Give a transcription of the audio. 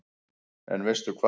En veistu hvað